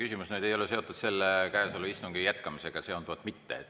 See küsimus ei ole seotud käesoleva istungi jätkamisega.